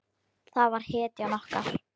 Hann var hetjan okkar.